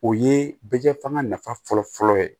O ye bɛ jɛ fanga nafa fɔlɔ fɔlɔ ye